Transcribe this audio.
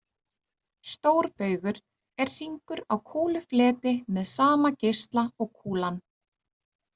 Stórbaugur er hringur á kúlufleti, með sama geisla og kúlan.